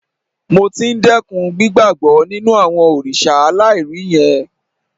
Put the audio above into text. Mo ti ń dẹ́kun gbígbàbọ́ nínú àwọn òrìṣà aláìrí yẹn